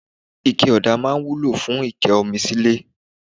Ike ọdà máa ń wúlò fún ike omi nílé.